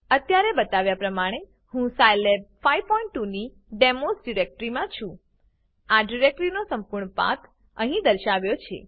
અત્યારે બતાવ્યા પ્રમાણે હું સ્કિલાબ 52 ની ડેમોસ ડીરેક્ટરીમાં છું આ ડીરેક્ટરીનો સંપૂર્ણ પાથ અહીં દર્શાવાયો છે